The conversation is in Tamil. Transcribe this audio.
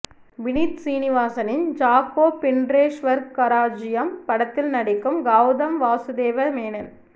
வினித் சீனிவாசனின் ஜாக்கோபின்றே ஸ்வர்கராஜ்ஜியம் படத்தில் நடிக்கும் கௌதம் வாசுதேவ மேனன்